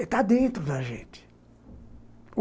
Está dentro da gente.